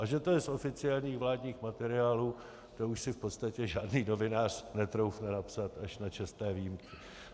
A že to je z oficiálních vládních materiálů, to už si v podstatě žádný novinář netroufne napsat, až na čestné výjimky.